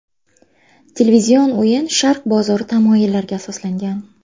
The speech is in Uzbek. Televizion o‘yin Sharq bozori tamoyillariga asoslangan.